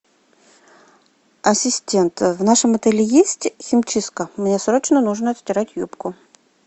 ассистент в нашем отеле есть химчистка мне срочно нужно отстирать юбку